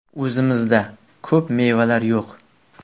O‘zimizda ko‘p mevalar yo‘q.